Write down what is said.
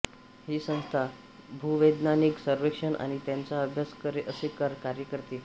ही संस्था भूवैज्ञानिक सर्वेक्षण आणि त्याचा अभ्यास असे कार्य करते